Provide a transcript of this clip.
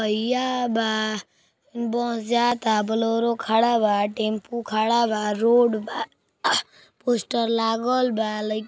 पहिया बा। बस जाता। बोलोरो खड़ा बा। टेम्पू खड़ा बा। रोड बा। पोस्टर लागल बा। लई --